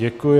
Děkuji.